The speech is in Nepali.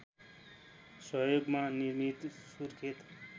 सहयोगमा निर्मित सुर्खेत